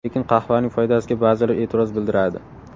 Lekin qahvaning foydasiga ba’zilar e’tiroz bildiradi.